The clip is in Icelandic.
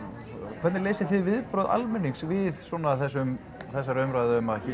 hvernig lesið þið viðbrögð almennings við svona þessum þessari umræðu um að hér